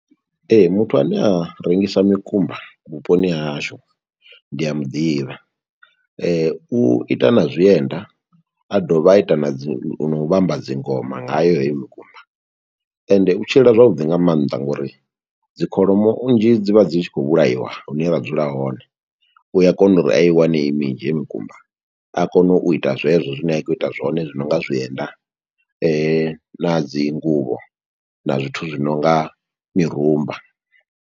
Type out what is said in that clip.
Ee, muthu ane a rengisa mikumba vhuponi ha hashu ndi a muḓivha, u ita na zwienda, a dovha a ita na dzi no u vhamba dzi ngoma ngayo heyo mikumba, ende u tshila zwavhuḓi nga maanḓa ngo uri dzi kholomo nnzhi dzi vha dzi tshi khou vhulaiwa, hune ra dzula hone. U a kona uri a i wane i minzhi mikumba, a kone u ita zwezwo zwine a khou ita zwone, zwi nonga zwienda, na dzi nguvho, na zwithu zwi nonga mirumba.